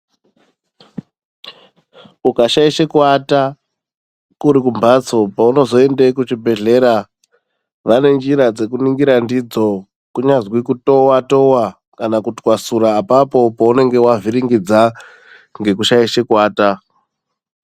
Ukashaishe kuwata kuri kumphatso paunozoende kuchibhedhlera vane njira dzokuningira ndidzo kunyazwi kutowa towa kana kutwasura apapo paunenge wavhiringidza ngokushaishe kuwata.